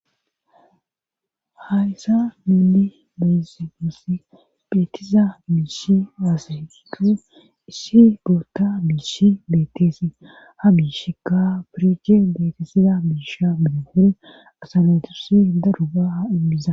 Hayssa mili beyse bossi beetiza biisi aasayiqu issi boota biissi beetteesi ha biishika pirichi betesiza biisha binehore asanatursi daru gaa ibbiza.